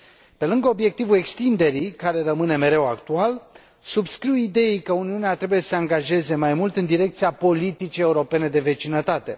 Pe lângă obiectivul extinderii, care rămâne mereu actual, subscriu ideii că Uniunea trebuie să se angajeze mai mult în direcția politicii europene de vecinătate.